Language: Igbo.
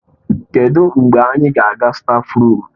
Kedụ mgbe anyị ga-aga stáfruum?